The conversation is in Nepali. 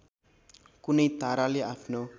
कुनै ताराले आफ्नो